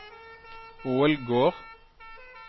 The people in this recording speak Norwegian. Ålgård